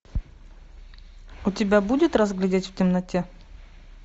у тебя будет разглядеть в темноте